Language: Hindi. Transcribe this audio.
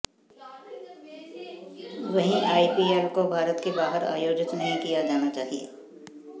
वहीं आईपीएल को भारत के बाहर आयोजित नहीं किया जाना चाहिए